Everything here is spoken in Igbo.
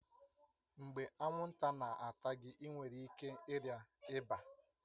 Mgbe anwụnta na-ata gị, ị nwere ike ịrịa ịba